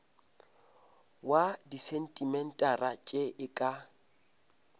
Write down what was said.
wa disentimetara tše e ka